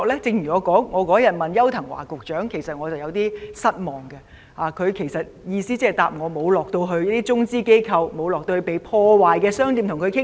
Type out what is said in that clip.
正如那天我質詢邱騰華局長，其實我對他的答覆有點失望，他回答時的意思是說沒有到過中資機構或被破壞的商店了解情況。